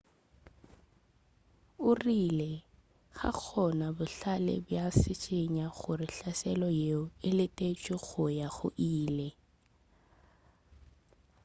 o rile ga gona bohlale bja go šišinya gore hlaselo yeo e letetšwe go ya go ile